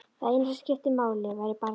Það eina sem skipti máli væri barnið.